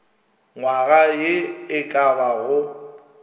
nywaga ye e ka bago